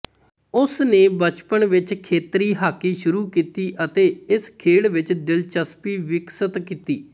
ਉਸ ਨੇ ਬਚਪਨ ਵਿਚ ਖੇਤਰੀ ਹਾਕੀ ਸ਼ੁਰੂ ਕੀਤੀ ਅਤੇ ਇਸ ਖੇਡ ਵਿਚ ਦਿਲਚਸਪੀ ਵਿਕਸਿਤ ਕੀਤੀ